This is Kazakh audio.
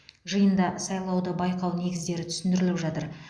жиында сайлауды байқау негіздері түсіндіріліп жатыр